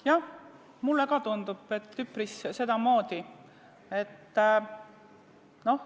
Jah, mulle tundub ka, et üpris sedamoodi.